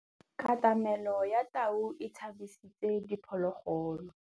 Katamêlô ya tau e tshabisitse diphôlôgôlô.